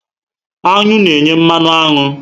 Aṅụ na enye mmanụ aṅụ